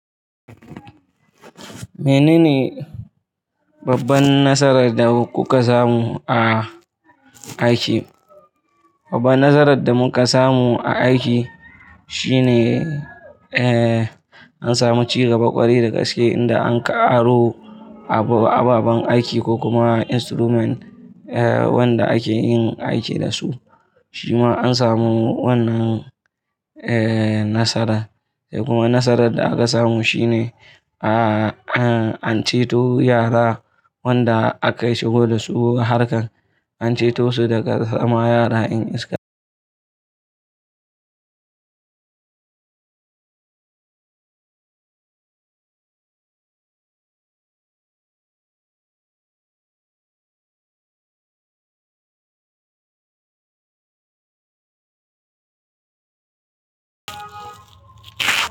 Menene babban nasarar da kuka samu a aiki? Babban nasarar da muka samu a aiki shine, eh, an samu cigaba ƙwarai da gaske inda an ƙaro ababen aiki ko kuma instrument, eh, wanda ake yin aiki da su. Shi ma an samu wannan, eh, nasarar. Kuma nasarar da aka samu shine, a, an ceto yara wanda aka yi shigo da su harkan, an ceto su daga sama yara 'yan iska.